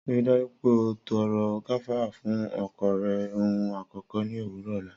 Rii daju pe o tọrọ gafara fun ọkọ rẹ ohun akọkọ ni owurọ ọla.